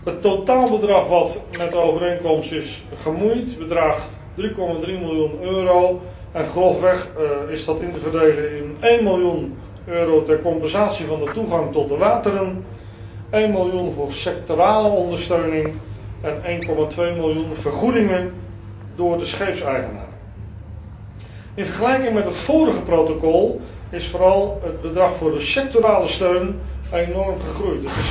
Het totaalbedrag dat met de overeenkomst is gemoeid bedraagt 3,3 miljoen euro en is grofweg onder te verdelen in één miljoen euro ter compensatie van de toegang tot de wateren, één miljoen voor sectorale ondersteuning en 1,2 miljoen vergoedingen door de scheepseigenaren. In vergelijking met het vorige protocol is vooral het bedrag voor de sectorale steun enorm gestegen.